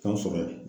K'a sɔrɔ yen